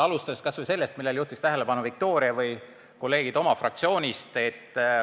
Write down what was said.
Alustada võib kas või sellest, millele juhtisid tähelepanu Viktoria ja kolleegid fraktsioonist.